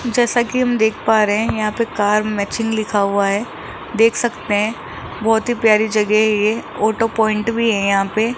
जैसा कि हम देख पा रे है यहां पे कार मैचिंग लिखा हुआ है देख सकते है बहोत ही प्यारी जगह है ये ऑटो प्वाइंट भी है यहां पे।